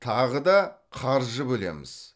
тағы да қаржы бөлеміз